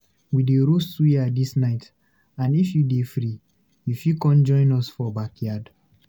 We dey roast suya dis night, and if you dey free, you fit con join us for backyard.